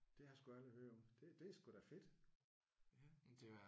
Det har jeg sgu aldrig hørt om. Det det er sgu da fedt!